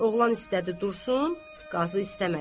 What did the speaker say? Oğlan istədi dursun, Qazı istəmədi.